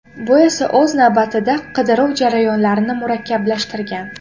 Bu esa o‘z navbatida, qidiruv jarayonlarini murakkablashtirgan.